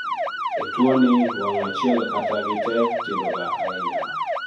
e tuwoni, wang' achiel kata gitee tindoga ahinya